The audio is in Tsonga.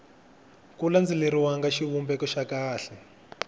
ku landzeleriwanga xivumbeko xa kahle